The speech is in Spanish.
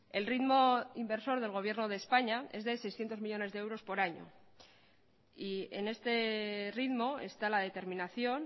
el ritmo inversor del gobierno de españa es de seiscientos millónes de euros por año y en este ritmo está la determinación